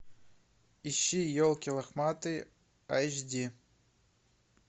ищи елки лохматые эйч ди